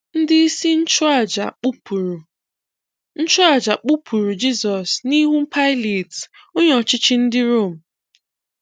Ndị isi nchụàjà kpupụrụ nchụàjà kpupụrụ Jisọs n’ihu Pilat, onye ọchịchị ndị Rom.